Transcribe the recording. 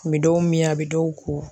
Kun bɛ dɔw min a bɛ dɔw ko.